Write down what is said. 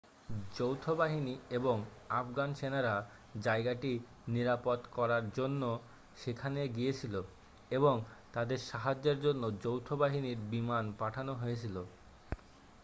যৌথ বাহিনী এবং আফগান সেনারা জায়গাটি নিরাপদ করার জন্য সেখানে গিয়েছিল এবং তাদের সাহায্যের জন্য যৌথ বাহিনীর বিমান পাঠানো হয়েছিল